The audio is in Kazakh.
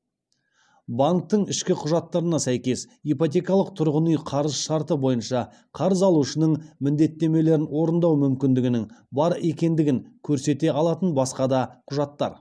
банктің ішкі құжаттарына сәйкес ипотекалық тұрғын үй қарыз шарты бойынша қарыз алушының міндеттемелерін орындау мүмкіндігінің бар екендігін көрсете алатын басқа да құжаттар